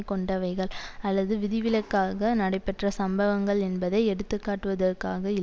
கொண்டவைகள் அல்லது விதிவிலக்காக நடைபெற்ற சம்பவங்கள் என்பதை எடுத்துக்காட்டுவதற்காக இல்